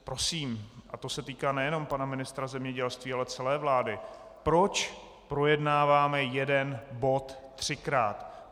Prosím, a to se týká nejenom pana ministra zemědělství, ale celé vlády: Proč projednáváme jeden bod třikrát?